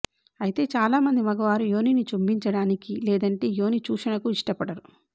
అయితే చాలామంది మగవారు యోనిని చుంబిచడానికి లేదంటే యోని చూషణకు ఇష్టపడరు